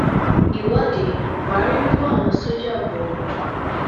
ìwọde buhari ń kó àwọn sójà bọ ọ